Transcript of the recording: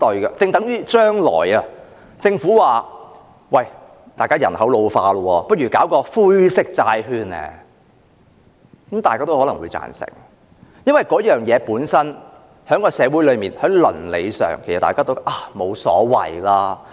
就正如政府說將來人口老化，不如推出"灰色債券"，可能大家也會贊成，因為事情本身在社會上和倫理上，大家都認為沒有所謂。